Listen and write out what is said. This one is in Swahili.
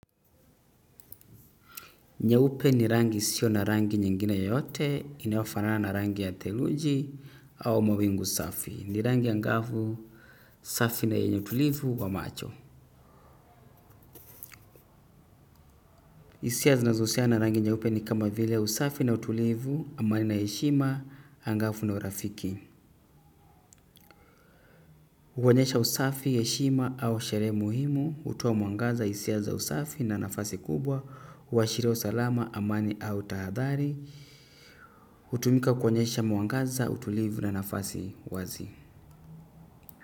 Nyeupe ni rangi isio na rangi nyingine yoyote, inayofanana na rangi ya theluji au mawingu safi, ni rangi angavu safi na yenye utulivu wa macho. Hisia zinazohusiana na rangi nyeupe ni kama vile usafi na utulivu, amani na heshima, angafu na urafiki. Huonyesha usafi, heshima au sherehe muhimu, hutoa mwangaza hisia za usafi na nafasi kubwa, huashiria usalama, amani au tahadhari. Hutumika kuonyesha mwangaza, utulivu na nafasi wazi.